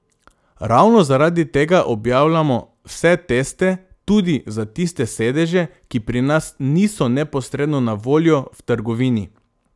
Ravno zaradi tega objavljamo vse teste, tudi za tiste sedeže, ki pri nas niso neposredno na voljo v trgovini.